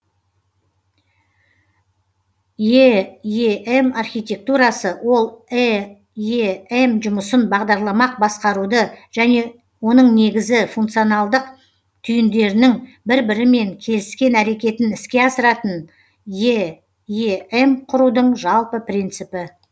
эем архитектурасы ол эем жұмысын бағдарламақ басқаруды және оның негізгі функционалдық түйіндерінің бір бірімен келіскен әрекетін іске асыратын эем құрудың жалпы принципі